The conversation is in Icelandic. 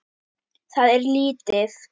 Það er lítið